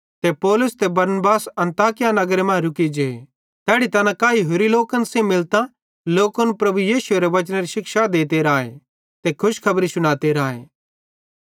ते पौलुस ते बरनबास अन्ताकिया नगरे मां रुकी जे तैड़ी तैना काई होरि लोकन सेइं मिलतां लोकन प्रभु यीशुएरे वचनेरी शिक्षा देंते राए ते खुशखबरी शुनाते राए